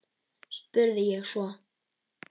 spurði ég svo.